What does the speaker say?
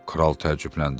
Kral təəccübləndi.